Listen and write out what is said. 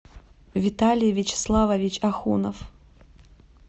виталий вячеславович ахунов